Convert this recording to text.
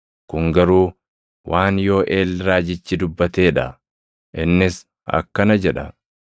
Kun garuu waan Yooʼeel raajichi dubbatee dha; innis akkana jedha: